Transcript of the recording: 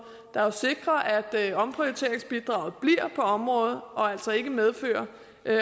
der sikrer at omprioriteringsbidraget bliver på området og altså ikke medfører